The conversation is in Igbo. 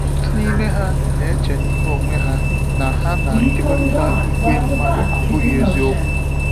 Ọtụtụ n’ime ha na eche n'me onwe ha na ha na ịkekọrịta ìgwè mmadụ abụghị eziokwu.